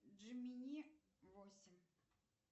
джимини восемь